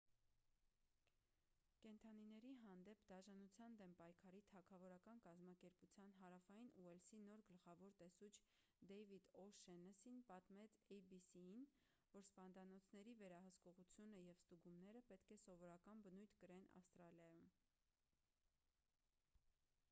կենդանիների հանդեպ դաժանության դեմ պայքարի թագավորական կազմակերպության հարավային ուելսի նոր գլխավոր տեսուչ դեյվիդ օ'շեննըսին պատմեց էյ-բի-սի-ին որ սպանդանոցների վերահսկողությունը և ստուգումները պետք է սովորական բնույթ կրեն ավստրալիայում